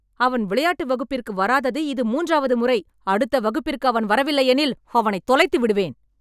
அவன் விளையாட்டு வகுப்பிற்கு வராதது இது மூன்றாவது முறை, அடுத்த வகுப்பிற்கு அவன் வரவில்லையெனில் அவனை தொலைத்து விடுவேன்.